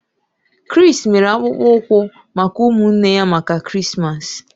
Chris mere akpụkpọ ụkwụ maka ụmụnne ya maka Krismas.